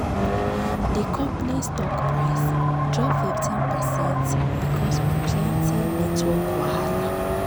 d company's stock price drop 15 percent because of plenty network wahala